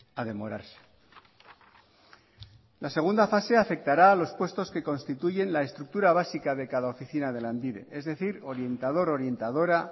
a demorarse la segunda fase afectará a los puestos que constituyen la estructura básica de cada oficina de lanbide es decir orientador orientadora